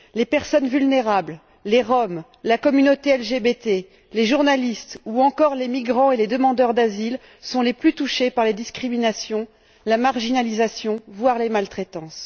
Les personnes vulnérables, les Roms, la communauté LGBT, les journalistes ou encore les migrants et les demandeurs d'asile sont les plus touchés par les discriminations, la marginalisation, voire les maltraitances.